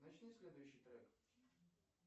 начни следующий трек